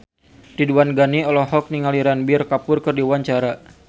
Ridwan Ghani olohok ningali Ranbir Kapoor keur diwawancara